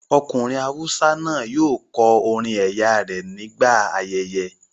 Ọkùnrin awúsá náà yóò kọ orin ẹ̀yà rẹ ní gbà ayẹyẹ